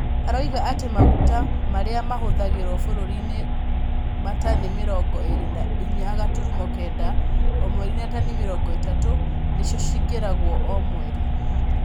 Aroiga atĩ maguta marĩa mahũthagĩrwo bũrũriinĩ nĩ matani mirongo ĩri na inyanya gaturumo kenda o mweri na tani mĩrongo ĩtatũ, nicio cingĩragwo o mweri.